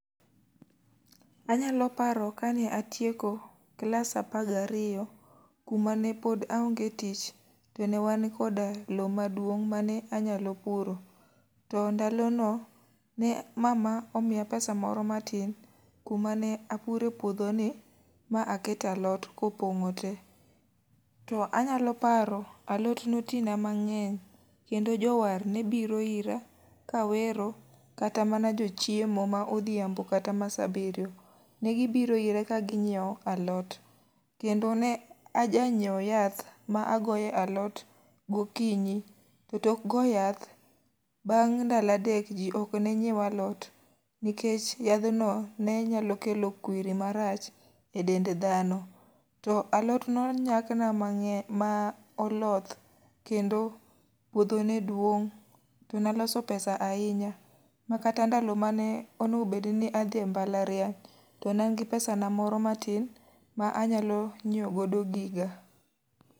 Anyalo paro kane atieko klas apar gi ariyo kuma ne pod aonge tich, to ne wan koda lowo maduong' mane anyalo puro. To ndalo ne mama omiya pesa moro matin, kuma ne apure puodho ni, ma akete alot kopongó te. To anyalo paro, alot ne oti na mangény, kendo jowar ne biro ira, kawero, kata mana jo chiemo ma odhiambo, kata ma sa abiriyo. Ne gi biro ira ka ginyiewo alot. Kendo ne a ja nyiew yath ma agoyo e alot gokinyi, To tok goyo yath bang' ndalo adek, ji ok ne nyiew alot, nikech yathno ne nyalo kelo kwiri marach e dend dhano. To alot ne onyak na mangény, ma oloth kendo puodho ne duong', to ne aloso pesa ahinya. Ma kata ndalo mane onego bed ni adhi e mbalariany, to ne an gi pesa na moro matin ma anyalo nyiewo godo giga.